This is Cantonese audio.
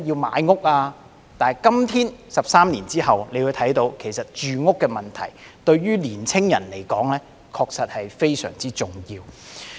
可是，今天13年後，大家會看到，對於年青人來說，住屋問題確實非常重要。